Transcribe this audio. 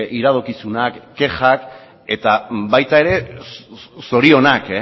iradokizunak kexak eta baita ere zorionak